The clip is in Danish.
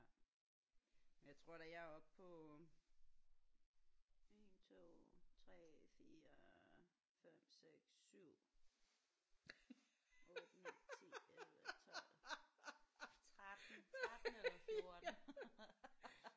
Jeg tror da jeg er oppe på øh 1 2 3 4 5 6 7 8 9 10 11 12 13 13 eller 14